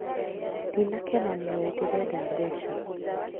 Ndina kena nìwe ndĩrenda mbeca